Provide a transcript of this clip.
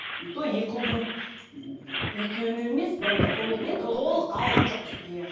и то екі ұлдың екеуіне емес бірыңғай толық енді толық алған жоқпыз иә